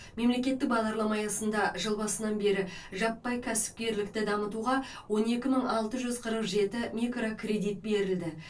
мемлекеттік бағдарлама аясында жыл басынан бері жаппай кәсіпкерлікті дамытуға он екі мың алты жүз қырық жеті микрокредит берілді